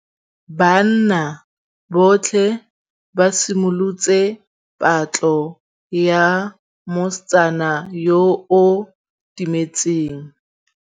Banna botlhê ba simolotse patlô ya mosetsana yo o timetseng.